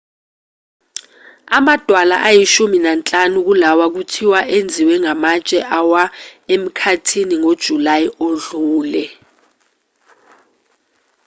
amadwala ayishumi nanhlanu kulawa kuthiwa enziwe amatshe awa emkhathini ngojulayi odlule